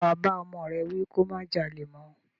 Ṣe wà bá ọmọ rẹ wí kí ó má jalè mọ́?